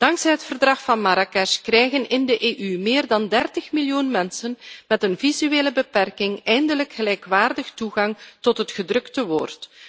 Dankzij het Verdrag van Marrakesh krijgen in de EU meer dan 30 miljoen mensen met een visuele beperking eindelijk gelijkwaardig toegang tot het gedrukte woord.